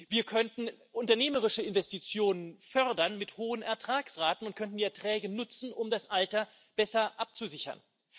Wir könnten unternehmerische Investitionen fördern mit hohen Ertragsraten und könnten die Erträge nutzen, um das Alter besser abzusichern.